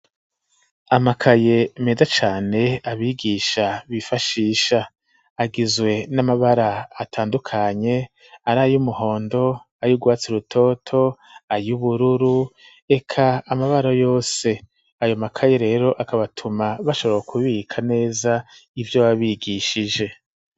Amakaye meza cane abigisha bifashisha; agizwe n'amabara atandukanye, ari ay'umuhondo, ay'urwatsi rutoto, ay'ubururu eka amabara yose; ayo makaye rero akaba atuma bashobora kubika neza ivyo baba bigishije.